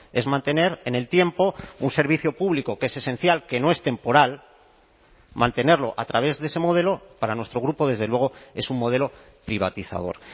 es mantener en el tiempo un servicio público que es esencial que no es temporal mantenerlo a través de ese modelo para nuestro grupo desde luego es un modelo privatizador